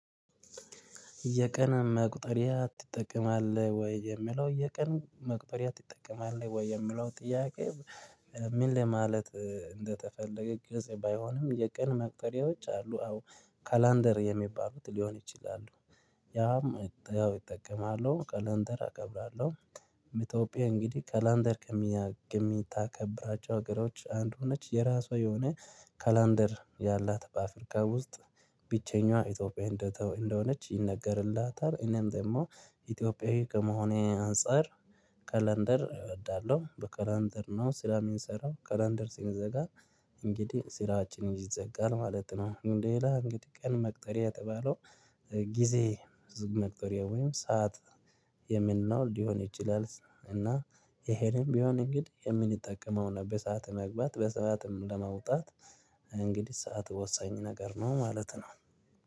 የቀን መቁጠሪያ ትጠቀማለህ ወይ የሚለው የቀን መቁጠሪያ ትጠቀማለህ ወይ የሚለው ጥያቄ? ምን ለማለት እንደተፈለገ ግልጽ ባይሆንም የቀን መቁጠሪያዎች አሉ አዎ ካላንደር የሚባሉት ሊሆን ይችላሉ። ያም ያው እጠቀማለው ካላንደር አከብራለሁ። ምቶጲያ እንግዲህ ካላንደር ከሚታከብራቸው ሀገሮች አንዱ ነች የራሷ የሆነ ካላንደር ያላት በአፍሪካ ውስጥ ብቸኛዋ ኢትዮጵያዊ እንደተ እንደሆነች ይነገርላታል። እኔም ደግሞ ኢትዮጵያዊ ከመሆኔ አንፃር ካላንደር እወዳለሁ በካላንደር ነው ስራ ሚንሰራው ካላንደር ሲንዘጋ እንግዲህ ስራችን ይዘጋል ማለት ነው። ሌላ እንግዲህ ቀን መቁጠሪያ የተባለው ጊዜ መቁጠሪያ ወይም ሰዓት የምንለው ሊሆን ይችላል። እና ይሄንም ቢሆን እንግዲህ የምንጠቀመውን በሰአት ለመግባት በሰአትም ለመውጣት እንግዲህ ሰዓት ወሳኝ ነገር ነው። ማለት ነው።